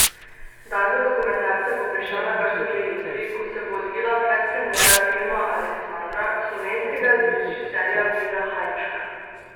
Dan za dokumentarce bo prišel na vrsto že jutri, ko se bo odvila predpremiera filma Aleksandra slovenskega režiserja Vida Hajnška.